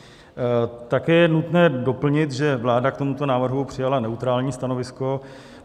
Také je nutné doplnit, že vláda k tomuto návrhu přijala neutrální stanovisko.